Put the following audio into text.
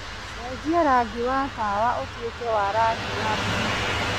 cenjia rangi wa tawa ũtuĩke wa rangi wa buluu